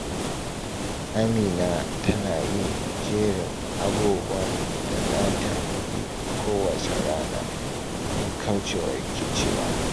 Amina tana yin jerin abubuwan da za ta yi kowacce rana don kauce wa rikicewa.